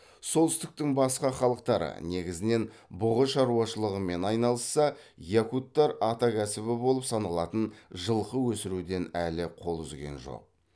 солтүстіктің басқа халықтары негізінен бұғы шаруашылығымен айналысса якуттар атакәсібі болып саналатын жылқы өсіруден әлі қол үзген жоқ